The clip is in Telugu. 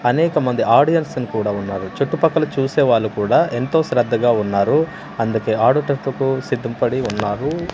అనేకమంది ఆడియన్సున్ కూడా ఉన్నారు చుట్టుపక్కల చూసే వాళ్ళు కూడా ఎంతో శ్రద్ధగా ఉన్నారు అందుకే ఆడుటకు సిద్ధపడి ఉన్నారు.